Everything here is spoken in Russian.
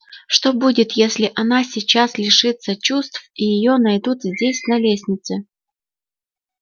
что будет если она сейчас лишится чувств и её найдут здесь на лестнице